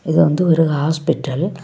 இது வந்து ஒரு ஹாஸ்பிடல் .